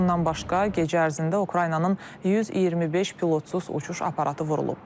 Bundan başqa, gecə ərzində Ukraynanın 125 pilotsuz uçuş aparatı vurulub.